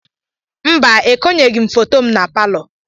Mba, ekonyeghị m foto m na palọ.